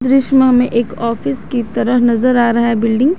दृश्य में हमें एक ऑफिस की तरह नजर आ रहा है बिल्डिंग ।